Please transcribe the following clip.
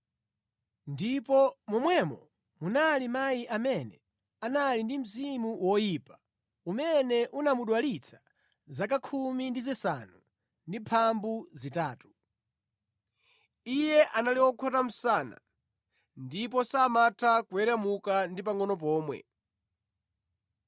ndipo momwemo munali mayi amene anali ndi mzimu woyipa umene unamudwalitsa zaka 18. Iye anali wokhota msana ndipo samatha kuweramuka ndi pangʼono pomwe.